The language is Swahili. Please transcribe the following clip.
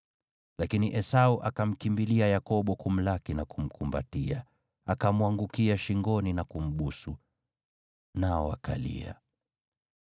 Lakini Esau akamkimbilia Yakobo kumlaki na kumkumbatia, akamwangukia shingoni na kumbusu. Nao wakalia.